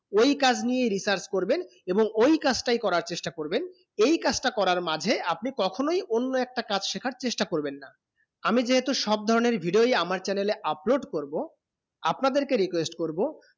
ঐই কাজ নিয়ে research করবেন এবং ঐই কাজ তা করার চেষ্টা করবেন ঐই কাজ তা করার মাঝে আপনি কখন অন্য একটা কাজ শেখার চেষ্টা করবেন না আমি যে এইতো সব ধরনে এর video ই আমার channel এ upload করবো আপনাদের কে request করবো